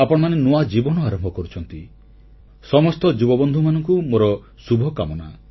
ଆପଣମାନେ ନୂଆ ଜୀବନ ଆରମ୍ଭ କରୁଛନ୍ତି ସମସ୍ତ ଯୁବବନ୍ଧୁମାନଙ୍କୁ ମୋର ଶୁଭକାମନା